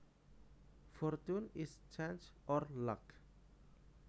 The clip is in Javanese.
Fortune is chance or luck